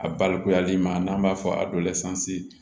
A balikuyali ma n'an b'a fɔ a lɛ sisan